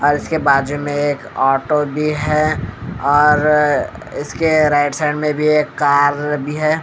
उसके इसके बाजू में एक ऑटो भी है और इसके राइट साइड में भी एक कार भी है।